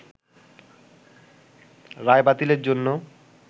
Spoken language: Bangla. রায় বাতিলের জন্য